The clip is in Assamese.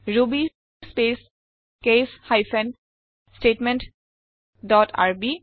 Ruby space case hyphen statement dot RB